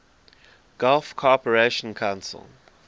gulf cooperation council